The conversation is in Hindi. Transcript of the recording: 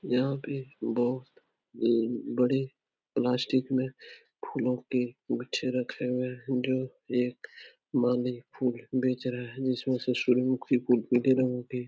यहाँ पे बहुत ई बड़े प्लास्टिक में फूलों के गुच्छे रखे हुए हैं जो एक माली फूल बेच रहा है जिसमें उसे सूर्यमुखी फूल पीले रंग की --